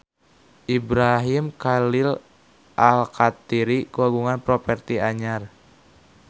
Ibrahim Khalil Alkatiri kagungan properti anyar